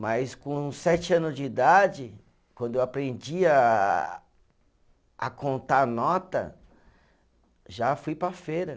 Mas com sete anos de idade, quando eu aprendi a a contar nota, já fui para a feira.